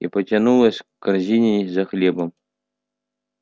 и потянулась к корзине за хлебом